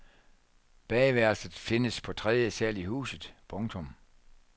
Badeværelset findes på tredje sal i huset. punktum